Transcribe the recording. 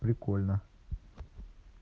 прикольно